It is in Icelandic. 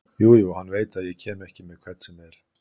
Jú jú, hann veit að ég kem ekki með hvern sem er.